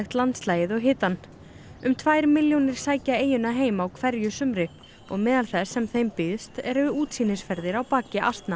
landslagið og hitann um tvær milljónir sækja eyjuna heim á hverju sumri og meðal þess sem þeim býðst eru útsýnisferðir á baki asna